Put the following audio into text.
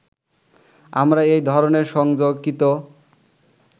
আমরা এই ধরনের সংযোগকৃত